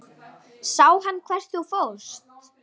Sá hann hvert þú fórst?